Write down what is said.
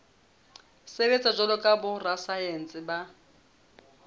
sebetsa jwalo ka borasaense ba